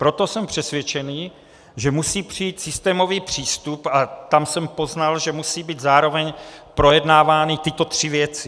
Proto jsem přesvědčen, že musí přijít systémový přístup, a tam jsem poznal, že musí být zároveň projednávány tyto tři věci.